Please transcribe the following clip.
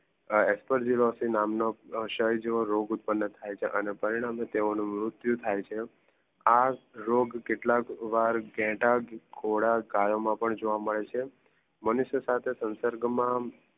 આ અસપેરજુનોસી નામ નો પ્રસાહિ જેવા રોગ ઉત્પન થઈ છે અને પરિણામે તેઓ નું મૃતિયું થઈ છે. આ રોગ કેટલાલ વાર ઘેટાં, ઘોડા, ગયો માં પણ જોવા મેડ છે મનુસિયા સાથે